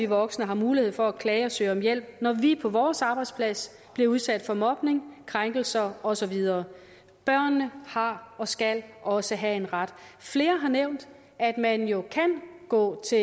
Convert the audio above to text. voksne har mulighed for at klage og søge om hjælp når vi på vores arbejdsplads bliver udsat for mobning krænkelser og så videre børnene har og skal også have en ret flere har nævnt at man jo kan gå til